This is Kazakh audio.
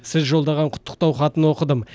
сіз жолдаған құттықтау хатын оқыдым